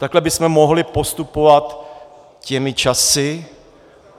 Takhle bychom mohli postupovat těmi časy.